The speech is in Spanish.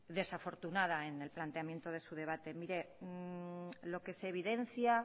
desafortunada en el planteamiento de su debate mire lo que se evidencia